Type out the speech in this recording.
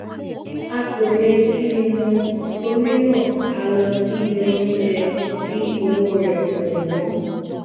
a kò retí wọn torí náà a lọ sí ilé onjẹ tí owó rè kò wón